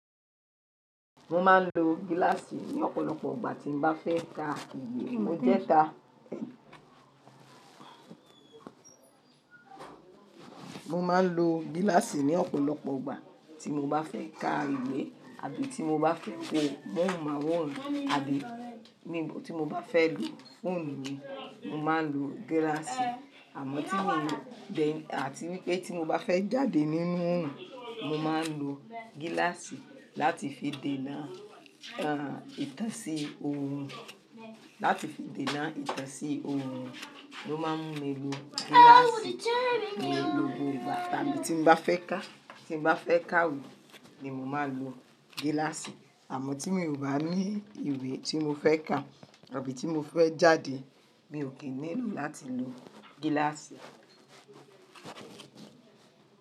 Mo máa ń lo giláàsì ní ọ̀pọ̀lọpọ̀ igbà tí mo bá fẹ́ ka ìwé, mo jẹ́ ta. Mo máa ń lo giláàsì ní ọ̀pọ̀lọpọ̀ igbà tí mo bá fẹ́ ka ìwé, àbí tí mo bá fẹ́ wò bọ́ọ̀hùn máwòrán, àbí níbò tí mo bá fẹ́ lò fóònù mi, mo máa ń lo giláàsì. Àmọ́ ti mi o then atí wipe ti mo bá fẹ́ jáde nínú òòrùn, mo máa ń lo giláàsì láti fi dènà, àá, ìtẹ̀sí òòrùn, láti fi dènà ìtẹ̀sí òòrùn, mo máa ń le lo giláàsì. Mò ń lo ni gbogbo ìgbà tàbí tí n bá fẹ́ ka, tí n bá fẹ́ ka ìwé ni mo máa ń lo giláàsì. Àmọ́ tí mi o bá ní ìwé tí mo fẹ́ kà àbí tí mo fẹ́ jáde, mi ò kì nílò láti lo giláàsì.